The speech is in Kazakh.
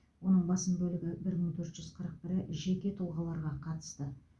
оның басым бөлігі бір мың төрт жүз қырық төрті жеке тұлғаларға қатысты